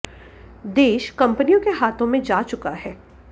देश कंपनियों के हाथो में जा चुका है